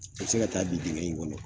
I be se ka taa bin dingɛ in kɔnɔ.